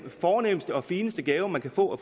fornemste og fineste gaver man kan få